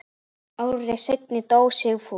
Ári seinna dó Sigfús.